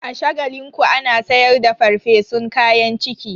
A Shagalinku ana sayar da farfesun kayan ciki.